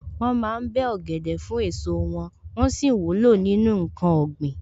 Wọ́n ma ń bẹ́ ọ̀gẹ̀dẹ̀ fún èso wọn, wón sì wúlò nínú ǹkan ọ̀gbìn.